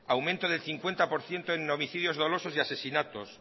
aumento del cincuenta por ciento en homicidios dolosos y asesinatos